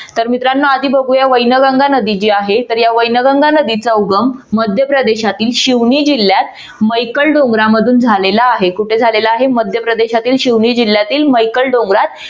तर मित्रांनो आधी बघूया वैनगंगा नदी जी आहे तर या वैनगंगा नदीचा उगम मध्यप्रदेशातील शिवणे जिल्ह्यात मैकल डोंगरांमधून मधून झालेला आहे. कुठे झालेला आहे? मध्यप्रदेशातील शिवणे जिल्ह्यात मैकल डोंगरात